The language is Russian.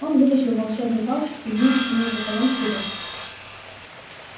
он вытащил волшебную палочку и двинулся между колонн вперёд